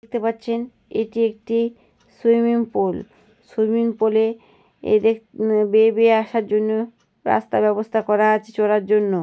দেখতে পাচ্ছেন এটি একটি সুইমিং পুল । সুইমিং পুলে বেয়ে বেয়ে আসার জন্য রাস্তার ব্যবস্থা করা আছে চড়ার জন্য।